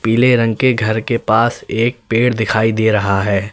पीले रंग के घर के पास एक पेड़ दिखाई दे रहा है।